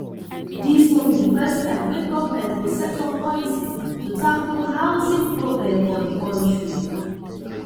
dis no be di first time wey government go set up policy to tackle housing problem for di kontri